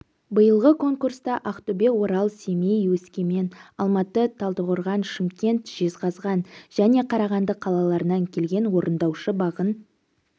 биылғы конкурста ақтөбе орал семей өскемен алматы талдықорған шымкент жезқазған және қарағанды қалаларынан келген орындаушы бағын